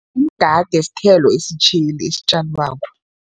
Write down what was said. Umgade sithelo esitjheli esitjalwako.